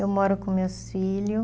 Eu moro com meus filho.